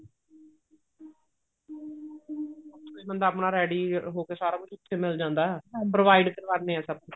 ਬੰਦਾ ਆਪਣਾ ready ਹੋ ਕੇ ਸਾਰਾ ਕੁੱਝ ਉੱਥੇ ਮਿਲ ਜਾਂਦਾ provide ਕਰਵਾਉਂਦੇ ਨੇ ਸਭ ਕੁੱਝ